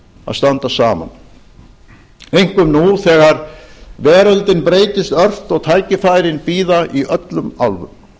að standa saman einkum nú þegar veröldin breytist ört og tækifærin bíða í öllum áttum